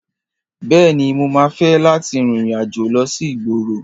Bẹ́ẹ̀ni, mo máa fẹ́ láti rin ìrìn-àjò lọ sí ìgboro.